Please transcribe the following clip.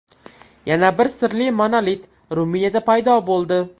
Yana bir sirli monolit Ruminiyada paydo bo‘ldi.